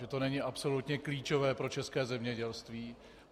Že to není absolutně klíčové pro české zemědělství.